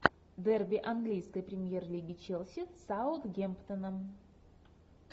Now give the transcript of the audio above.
дерби английской премьер лиги челси с саутгемптоном